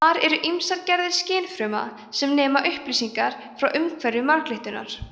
þar eru ýmsar gerðir skynfruma sem nema upplýsingar frá umhverfi marglyttunnar